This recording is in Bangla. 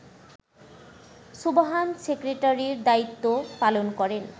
সুবহান সেক্রেটারির দায়িত্ব পালন করেন